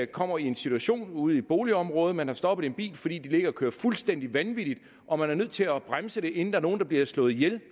kommer i en situation ude i et boligområde hvor man har stoppet en bil fordi folk ligger og kører fuldstændig vanvittigt og man er nødt til at bremse det inden der er nogen der bliver slået ihjel